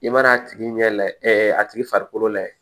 I mana a tigi ɲɛ la a tigi farikolo layɛ